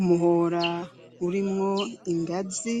Umuhora urimwo ingazi,